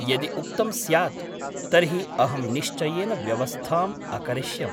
यदि उक्तं स्यात् तर्हि अहं निश्चयेन व्यवस्थाम् अकरिष्यम् ।